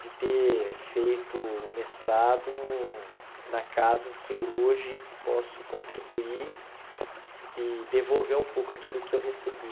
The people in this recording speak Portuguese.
de ter feito o mestrado na casa em que eu hoje posso contribuir e devolver um pouco aquilo que eu recebi.